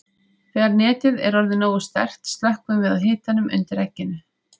Þegar netið er orðið nógu sterkt slökkvum við á hitanum undir egginu.